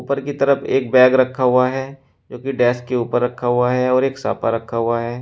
ऊपर की तरफ एक बैग रखा हुआ है जो कि डैश के ऊपर रखा हुआ है और एक साफा रखा हुआ है।